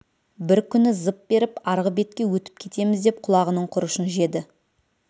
бір күні зып беріп арғы бетке өтіп кетеміз деп құлағының құрышын жеді